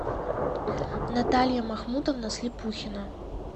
наталья махмутовна слепухина